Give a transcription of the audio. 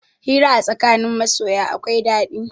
Hira a tsakanin masoya akwai ɗaɗi.